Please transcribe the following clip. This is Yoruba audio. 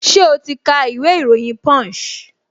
Ṣẹ́ o ti ka ìwé ìròyìn punch?